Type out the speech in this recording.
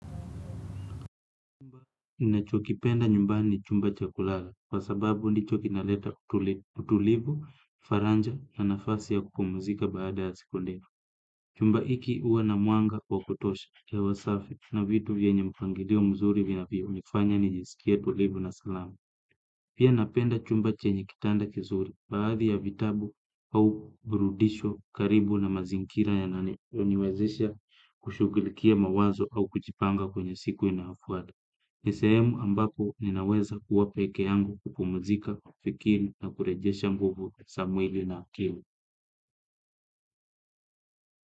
Chumba ninachokipenda nyumbani ni chumba cha kulala, kwa sababu ndicho kinaleta utulibu, faranja na nafasi ya kupumzika baada ya siku ndefu. Chumba iki uwa na mwanga wa kutosha hewa safi na vitu vyenye mpangilio mzuri vinavyonifanya njisikie tulivu na salama. Pia napenda chumba chenye kitanda kizuri baadhi ya vitabu au burudisho karibu na mazingira yananiwezesha kushugulikia mawazo au kuchipanga kwenye siku inayofuata. Ni sehemu ambapo ninaweza kuwa pekee yangu kupumzika, fikiri na kurejesha nguvu sa mwili na akili.